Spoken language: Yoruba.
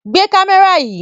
Gbé kámẹ́rà yìí!